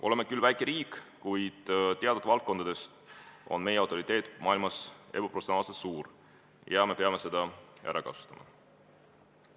Oleme küll väike riik, kuid teatud valdkondades on meie autoriteet maailmas ebaproportsionaalselt suur, ja me peame seda ära kasutama.